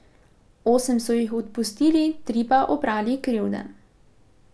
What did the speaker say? Osem so jih odpustili, tri pa oprali krivde.